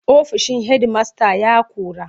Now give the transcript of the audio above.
Ofishin hedimasta ya ƙura.